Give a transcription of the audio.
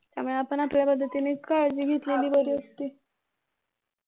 त्यामुळे आपण आपल्या पद्धतीने काळजी घेतलेली बरी असती